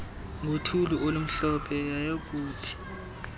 ngothuli olumhlophe yayokuthi